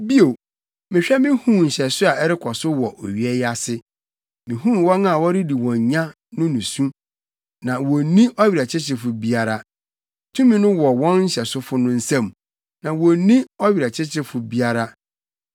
Bio, mehwɛ mihuu nhyɛso a ɛrekɔ so wɔ owia yi ase: Mihuu wɔn a wɔredi wɔn nya no nusu na wonni ɔwerɛkyekyefo biara; tumi no wɔ wɔn nhyɛsofo no nsam na wonni ɔwerɛkyekyefo biara.